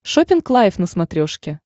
шоппинг лайф на смотрешке